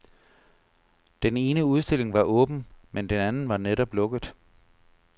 Den ene udstilling var åben, men den anden var netop lukket.